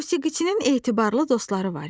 Musiqiçinin etibarlı dostları var idi.